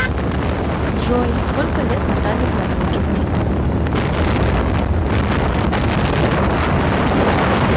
джой сколько лет наталье владимировне